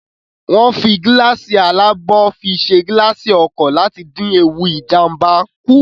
Wọ́n ń fi gíláàsì alábò fi ṣe gilaasi ọkọ̀ láti dín ewu Ìjàmbá kù